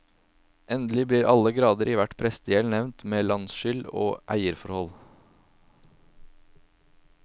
Endelig blir alle garder i hvert prestegjeld nevnt med landskyld og eierforhold.